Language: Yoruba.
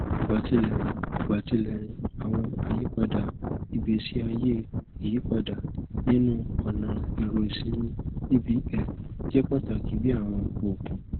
igbatilẹrin igbatilẹrin awọn ayipada igbesi aye iyipada ninu ọna ero isinmi bbl jẹ pataki bi awọn oogun